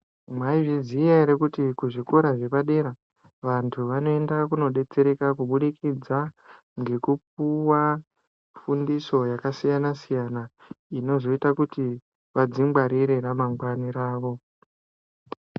Mwaizviziya ere kuti kuzvikora zvepadera vantu vanoenda kunodetsereka kubudikidza ngekupuwa fundiso yakasiyana siyana inozoita kuti vadzingwarire ramangwani ravo.